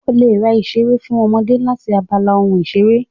O lè ra ìṣeré fún ọmọdé láti abala ohun ìṣeré